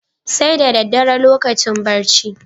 Sai da daddare lokacin barci.